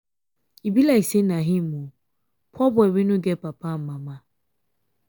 e be like say na him oo. poor boy wey no get papa and mama.